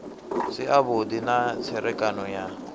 si avhudi na tserekano ya